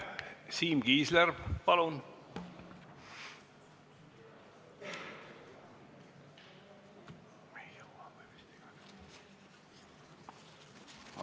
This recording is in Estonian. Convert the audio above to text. Siim Kiisler, palun!